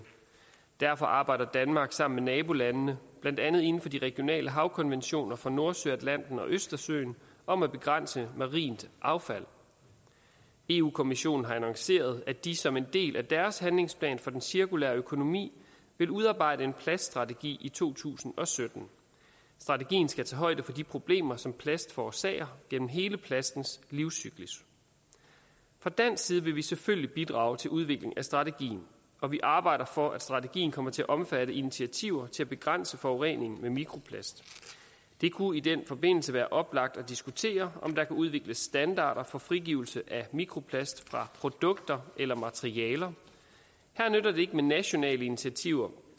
derfor arbejder danmark sammen med nabolandene blandt andet inden for de regionale havkonventioner for nordsøen atlanten og østersøen om at begrænse marint affald eu kommissionen har annonceret at de som en del af deres handlingsplan for den cirkulære økonomi vil udarbejde en plaststrategi i to tusind og sytten strategien skal tage højde for de problemer som plast forårsager gennem hele plastens livscyklus fra dansk side vil vi selvfølgelig bidrage til udvikling af strategien og vi arbejder for at strategien kommer til at omfatte initiativer til at begrænse forureningen med mikroplast det kunne i den forbindelse være oplagt at diskutere om der kunne udvikles standarder for frigivelse af mikroplast fra produkter eller materialer her nytter det ikke med nationale initiativer